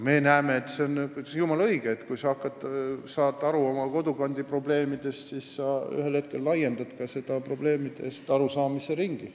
Meie näeme, et see ongi jumala õige: kui sa saad aru oma kodukandi probleemidest, siis sa ühel hetkel laiendad ka probleemidest arusaamise ringi.